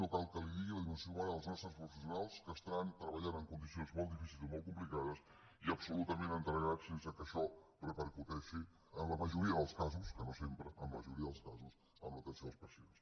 no cal que li digui la dimensió humana dels nostres professionals que estan treballant en condicions molt difícils i molt complicades i absolutament entregats sense que això repercuteixi en la majoria dels casos que no sempre en la majoria dels casos en l’atenció dels pacients